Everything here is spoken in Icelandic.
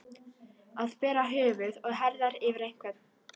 Að bera höfuð og herðar yfir einhvern